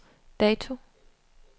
dato